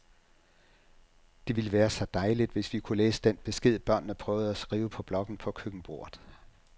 Det ville være så dejligt, hvis vi kunne læse den besked, børnene prøvede at skrive på blokken på køkkenbordet.